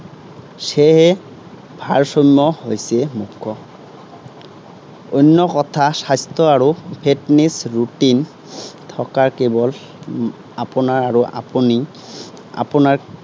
সেয়ে, ভাৰসাম্য হৈছে আহ অন্য কথাত স্বাস্থ্য আৰু fitness routine থকা কেৱল আপোনাৰ আৰু আপুনি, আপোনাক